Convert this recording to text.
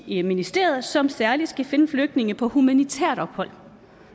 i ministeriet som særlig skal finde flygtninge på humanitært ophold